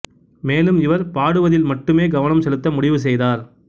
மேலும் இவர் பாடுவதில் மட்டுமே கவனம் செலுத்த முடிவு செய்தார்